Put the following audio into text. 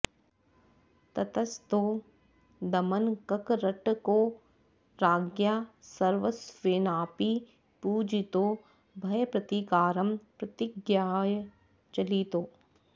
ततस्तौ दमनककरटकौ राज्ञा सर्वस्वेनापि पूजितौ भयप्रतीकारं प्रतिज्ञाय चलितौ